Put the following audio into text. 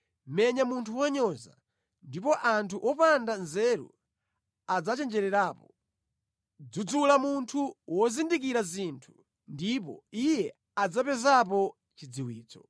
Menya munthu wonyoza, ndipo anthu opanda nzeru adzachenjererapo; dzudzula munthu wozindikira zinthu, ndipo iye adzapezapo chidziwitso.